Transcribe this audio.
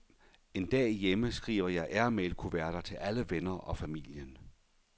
En dag hjemme, skriver jeg airmailkuverter til alle venner og familien.